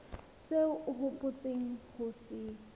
seo o hopotseng ho se